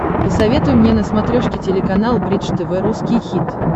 посоветуй мне на смотрешке телеканал бридж тв русский хит